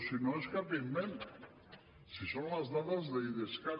si no és cap invent si són les dades d’idescat